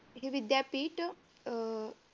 हे विद्यापीठ अह